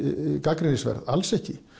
gagnrýnisverð alls ekki